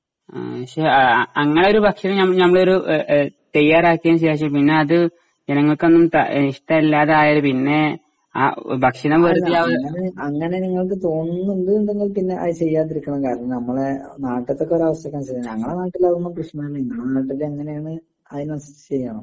ആ പക്ഷെ അങ്ങനെയൊരു ഭക്ഷണം ഞമ്മ ഞമ്മളെയൊരു എ എ തയ്യാറാക്കിയതിനു ശേഷം പിന്നതു ജനങ്ങൾക്കൊന്നും ഇഷ്ടല്ലാതയാല് പിന്നെ ആ ഭക്ഷണം വെറുതെയാവു.